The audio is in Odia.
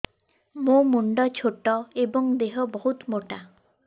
ମୋ ମୁଣ୍ଡ ଛୋଟ ଏଵଂ ଦେହ ବହୁତ ମୋଟା